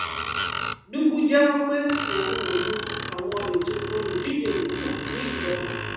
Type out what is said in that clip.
dugu jẹwọ pé òun ò mọ àwọn ètò olùdíje yòókù ní ìjọba